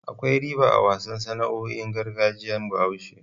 Akwai riba a wasu sana'o'in gargajiyar Bahaushe.